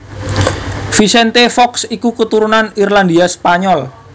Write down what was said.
Vicente Fox iku keturunan Irlandia Spanyol